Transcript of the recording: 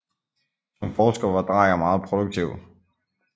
Som forsker var Drejer meget produktiv